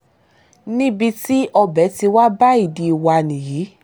níbi tí ọbẹ̀ ti bá ìdí wá nìyí